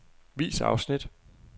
Vis afsnit.